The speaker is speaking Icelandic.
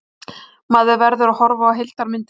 Maður verður að horfa á heildarmyndina.